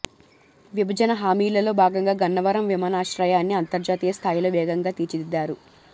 విభజన హామీలలో భాగంగా గన్నవరం విమానాశ్రయాన్ని అంతర్జాతీయ స్థాయిలో వేగంగా తీర్చిదిద్దారు